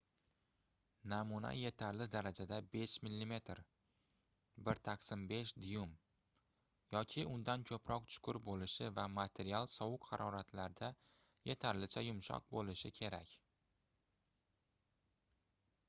namuna yetarli darajada — 5 mm 1/5 duym yoki undan ko'proq chuqur bo'lishi va material sovuq haroratlarda yetarlicha yumshoq bo'lishi kerak